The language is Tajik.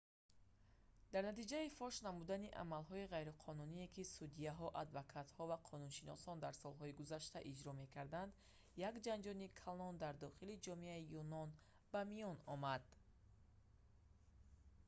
дар натиҷаи фош намудани амалҳои ғайриқонуние ки судяҳо адвокатҳо ва қонуншиносон дар солҳои гузашта иҷро мекарданд як ҷанҷоли калон дар дохили ҷомеаи юнон ба миён омад